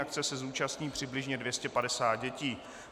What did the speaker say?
Akce se zúčastní přibližně 250 dětí.